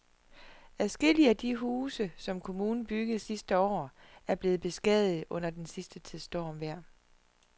Adskillige af de huse, som kommunen byggede sidste år, er blevet beskadiget under den sidste tids stormvejr.